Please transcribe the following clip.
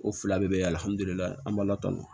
O fila bɛɛ bɛ an b'a la tan